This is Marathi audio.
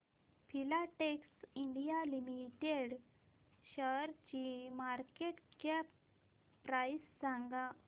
फिलाटेक्स इंडिया लिमिटेड शेअरची मार्केट कॅप प्राइस सांगा